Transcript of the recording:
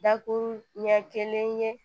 Dakuru ɲɛ kelen ye